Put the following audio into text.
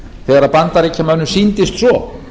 þegar bandaríkjamönnum sýndist svo